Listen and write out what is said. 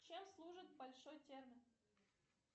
чем служит большой термин